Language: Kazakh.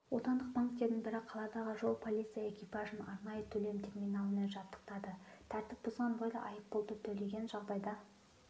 отандық банктердің бірі қаладағы жол-полиция экипажын арнайы төлем терминалымен жабдықтады тәртіп бұзған бойда айыппұлды төлеген жағдайда